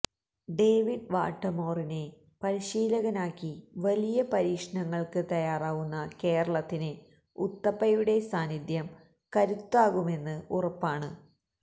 David വാട്ടമോറിനെ പരിശീലകനാക്കി വലിയ പരീക്ഷണങ്ങള്ക്ക് തയ്യാറാകുന്ന കേരളത്തിന് ഉത്തപ്പയുടെ സാന്നിധ്യം കരുത്താകുമെന്ന് ഉറപ്പാണ്